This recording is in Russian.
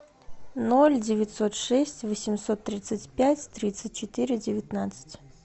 ноль девятьсот шесть восемьсот тридцать пять тридцать четыре девятнадцать